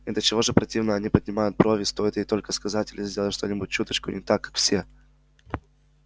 и до чего же противно они поднимают брови стоит ей только сказать или сделать что-нибудь чуточку не так как все